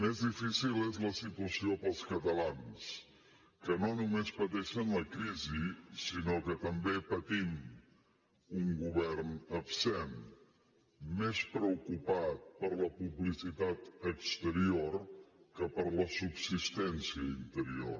més difícil és la situació per als catalans que no només pateixen la crisi sinó que també patim un govern absent més preocupat per la publicitat exterior que per la subsistència interior